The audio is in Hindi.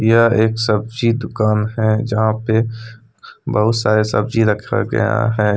यह एक सब्जी दुकान हैजहां पे बहुत सारे सब्जी रखा गया है।